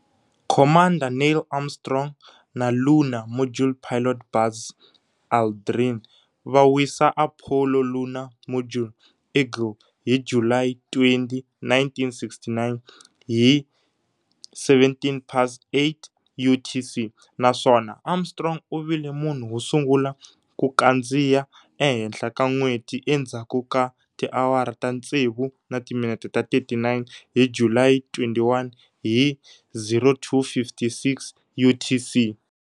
Commander Neil Armstrong na Lunar Module Pilot Buzz Aldrin va wisa Apollo Lunar Module"Eagle" hi July 20, 1969, hi 20-17 UTC, naswona Armstrong u vile munhu wosungula ku kandziya ehenhla ka N'weti endzhaku ka tiawara ta tsevu na timinete ta 39, hi July 21 hi 02-56 UTC.